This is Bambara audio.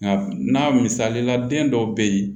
Nka n'a misali la den dɔw bɛ yen